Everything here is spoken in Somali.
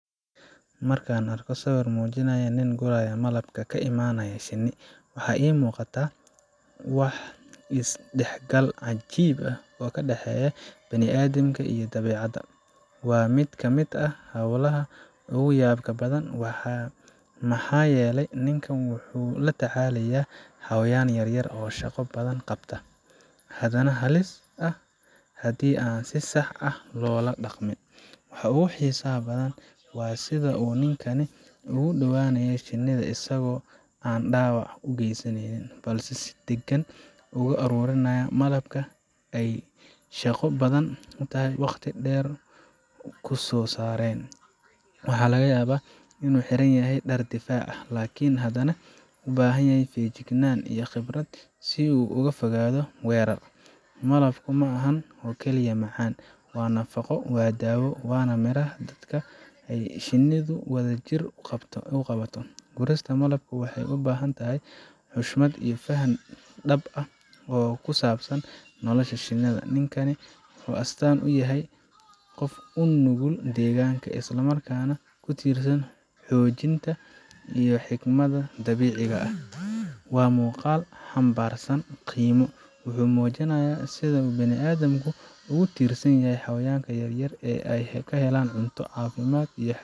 Markaan arko sawir muujinaya nin guraya malab ka imanaya shinni, waxa ii muuqata waa isdhexgal cajiib ah oo u dhexeeya bini’aadamka iyo dabiicadda. Waa mid ka mid ah hawlaha ugu yaabka badan, maxaa yeelay ninkan wuxuu la tacaalayaa xayawaan yar yar oo shaqo badan qabta, haddana halis ah haddii aan si sax ah loola dhaqmin. Waxa ugu xiisaha badan waa sida uu ninkani ugu dhowyahay shinnida isagoo aan dhaawac u geysaneynin, balse si deggan uga ururinaya malabka ay shaqo badan iyo waqti dheer ku soo saareen. Waxaa laga yaabaa inuu xiran yahay dhar difaac ah, laakiin haddana u baahan feejignaan iyo khibrad si uu uga fogaado weerar. Malabku ma aha oo kaliya macaan waa nafaqo, waa dawo, waana miraha dadaalka ay shinnidu wadajir u qabato. Gurista malabka waxay u baahan tahay xushmad iyo faham dhab ah oo ku saabsan nolosha shinnida. Ninkani wuxuu astaan u yahay qof u nugul deegaanka, isla markaana ku tiirsan xooggiisa iyo xikmadda dabiiciga ah. Waa muuqaal xambaarsan qiimo wuxuu muujinayaa sida ay bini’aadamku ugu tiirsan yihiin xayawaanka yar yar si ay u helaan cunto, caafimaad, iyo xiriir toos ah.